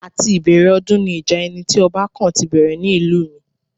Àti ìbẹ̀rẹ̀ ọdún ni ìjà ẹni tí ọba kàn ti bẹ̀rẹ̀ ní ìlú mi